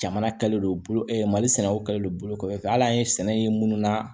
Jamana kɛlen don bolo ɛ mali sɛnɛw kɛlen don bolo kɔfɛ hali an ye sɛnɛ ye minnu na